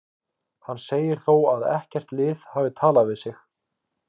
Hann segir þó að ekkert lið hafi talað við sig.